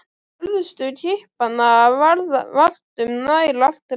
Hörðustu kippanna varð vart um nær allt land.